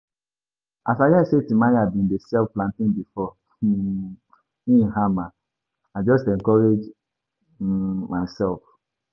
As I hear sey Timaya bin dey sell plantain before um im hama, I just encourage um myself.